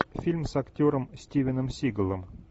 фильм с актером стивеном сигалом